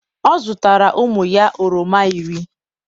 ọ zụtara ụmụ ya oroma iri